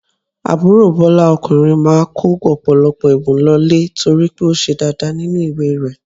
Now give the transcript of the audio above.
Àbúrò Bọ́lá ọkùnrin máa kó ọ̀pọ̀lọpọ̀ ẹ̀bùn lọ ilé torí pé ó ṣe dáadáa nínú ìwé rẹ̀.